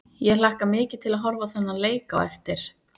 Ég hlakka mikið til að horfa á þennan leik á eftir.